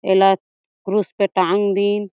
एल क्रुश पे टाँग दिन--